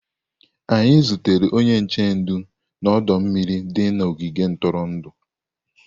Anyị zutere onye nche ndụ na ọdọ mmiri dị n'ogige ntụrụndụ.